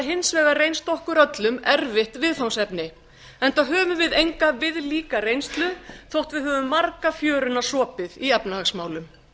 hins vegar reynst okkur öllum erfitt viðfangsefni enda höfum við enga viðlíka reynslu þótt við höfum marga fjöruna sopið í efnahagsmálum